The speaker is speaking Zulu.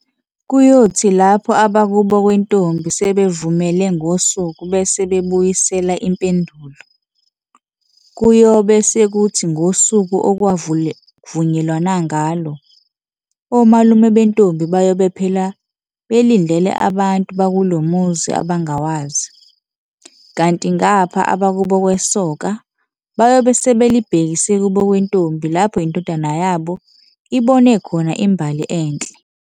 Kuyothike lapho abakubo kwentombi sebevumele ngosuku bese bebuyisela impendulo, kuyobe sekuthi ngosuku okwavunyelwana ngalo, omalume bentombi bayobe phela belindele abantu bakulomuzi abangawazi, kanti ngapha abakubo kwesoka bayobe sebelibhekise kubo kwentombi lapho indodana yabo ibone khona imbali enhle.